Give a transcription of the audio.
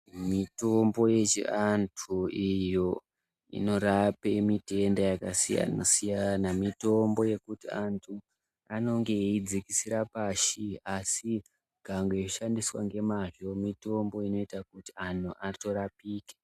Mitombo yechiantu iyo inorape mitenda akasiyana siyana mitombo yekuti antu anonge eiidzikisira pashi asi ikangoshandiswa ngemazvo mitombo inoita kuti anhu atorapike.